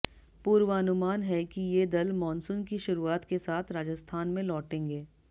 पूर्वानुमान है कि ये दल मानसून की शुरुआत के साथ राजस्थान में लौटेंगे